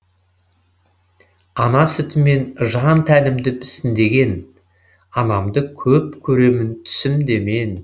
ана сүтімен жан тәнімді мүсіндеген анамды көп көремін түсімде мен